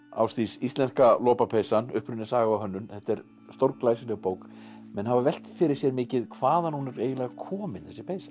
Ásdís Íslenska lopapeysan uppruni saga og hönnun þetta er stórglæsileg bók menn hafa velt fyrir sér mikið hvaðan hún er eiginlega komin þessi peysa